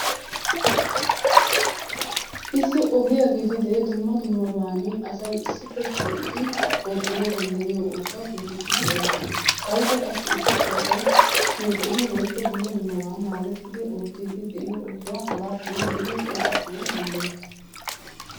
Issi ogiya gidididee dumma dummabaani asay issippe shiiqidi oottana danddayiyo ooso ggeetettidi erettees. Haykka qassi issippe asay shiiqidi oottidi de'iyo oosuwa hagaattan giidi qonccissana danddayettees.